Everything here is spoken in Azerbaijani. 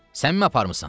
Sən mi aparmısan?